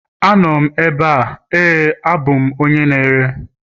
Anọ m ebe a, ,Éè abụ m onye na-ere